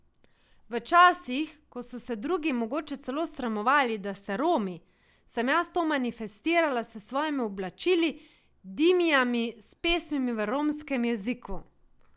V časih, ko so se drugi mogoče celo sramovali, da so Romi, sem jaz to manifestirala s svojimi oblačili, dimijami, s pesmimi v romskem jeziku.